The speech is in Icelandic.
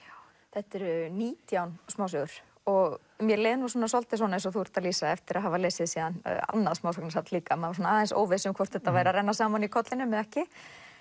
þetta eru nítján smásögur og mér leið svolítið eins og þú lýsir eftir að hafa lesið síðan annað smásagnasafn líka maður aðeins óviss hvort þetta væri að renna saman í kollinum eða ekki